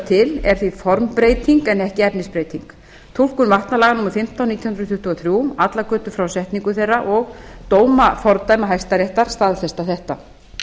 til er því formbreyting en ekki efnisbreyting túlkun vatnalaga númer fimmtán nítján hundruð tuttugu og þrjú allar götur frá setningu þeirra og dómafordæma hæstaréttar staðfesta þetta